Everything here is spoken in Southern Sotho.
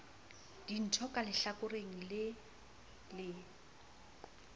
dintho ka lehlakore le le